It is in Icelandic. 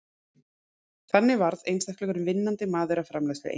þannig varð einstakur vinnandi maður að framleiðslueiningu